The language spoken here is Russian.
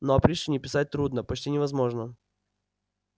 но о пришвине писать трудно почти невозможно